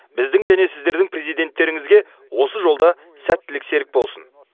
біздің және сіздердің президенттеріңізге осы жолда сәттілік серік болсын